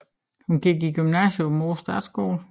Hun gik i gymnasiet på Aabenraa Statsskole